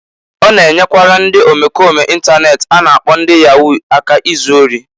O na-enyekwara ndị omekome intanet a na-akpọ ndị Yahoo aka izu ori.